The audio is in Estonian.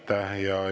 Aitäh!